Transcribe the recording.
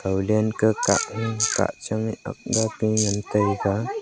ega den kahaun ni kahchange akgake ngan taiga.